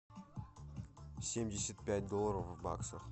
семьдесят пять долларов в баксах